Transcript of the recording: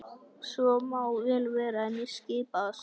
Svo má vel vera en ég skipa það samt.